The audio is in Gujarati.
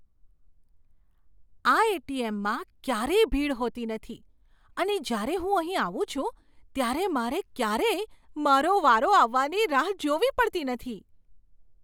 આ એટીએમમાં ક્યારેય ભીડ હોતી નથી અને જ્યારે હું અહીં આવું છું ત્યારે મારે ક્યારેય મારો વારો આવવાની રાહ જોવી પડતી નથી.